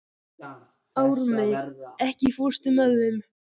Ármey, ekki fórstu með þeim?